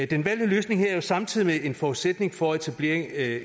den valgte løsning her er jo samtidig en forudsætning for etableringen af